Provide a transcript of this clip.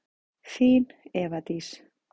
Þín, Eva Dís.